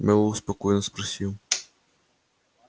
мэллоу спокойно спросил